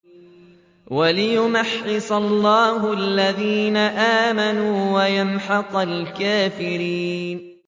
وَلِيُمَحِّصَ اللَّهُ الَّذِينَ آمَنُوا وَيَمْحَقَ الْكَافِرِينَ